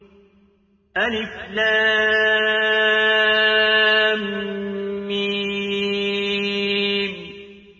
الم